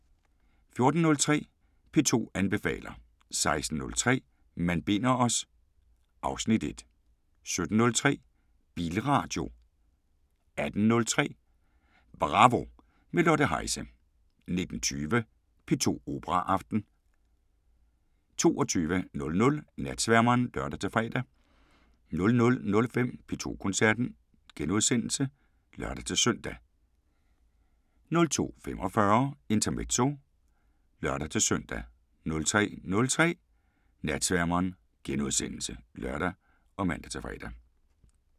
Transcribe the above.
14:03: P2 anbefaler 16:03: Man binder os... (Afs. 1) 17:03: Bilradio 18:03: Bravo – med Lotte Heise 19:20: P2 Operaaften 22:00: Natsværmeren (lør-fre) 00:05: P2 Koncerten *(lør-søn) 02:45: Intermezzo (lør-søn) 03:03: Natsværmeren *(lør og man-fre)